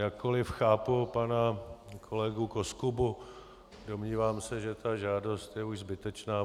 Jakkoli chápu pana kolegu Koskubu, domnívám se, že ta žádost je už zbytečná.